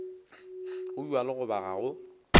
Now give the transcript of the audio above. go bjalo goba ga go